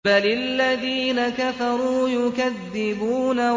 بَلِ الَّذِينَ كَفَرُوا يُكَذِّبُونَ